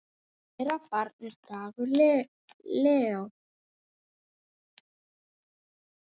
Þeirra barn er Dagur Leó.